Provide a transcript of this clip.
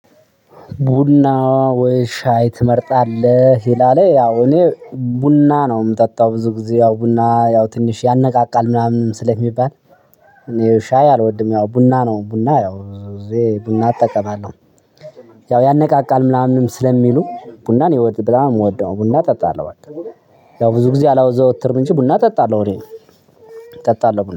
ቡና? ወይ ሻይ ትመርጣለህ ይላል፤ ያው እኔ ቡና ነው የምጠጣው ብዙ ጊዜ ያው ቡና ያው ትንሽ ያነቃቃል ምናምን ስለሚባል። እኔ ሻይ አልወድም። ያው ቡና ነው ቡና ያው ብዙ ጊዜ ቡና እጠቀማለሁ። ያው ያነቃቃል ምናምንም ስለሚሉ ቡናን በጣም የምወደው ቡና እጠጣለሁ በቃ። ያው ብዙ ጊዜ አላዘወትርም እንጂ ቡና እጠጣለሁ እኔ እጠጣለሁ